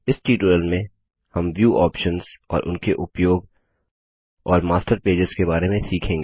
इस ट्यूटोरियल में हम व्यू ऑप्शन्स और उनके उपयोग और मास्टर पेजेस के बारे में सीखेंगे